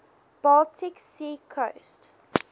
baltic sea coast